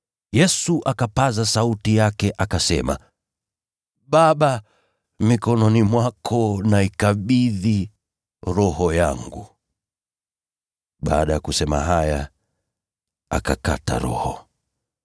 Yesu akapaza sauti yake akasema, “Baba, mikononi mwako naikabidhi roho yangu.” Baada ya kusema haya, akakata roho.